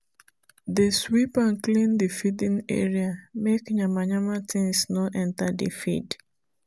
dey sweep and clean the feeding area make yama-yama things no enter the feed.